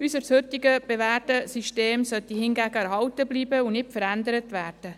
Unser heute bewährtes System sollte hingegen erhalten bleiben und nicht verändert werden.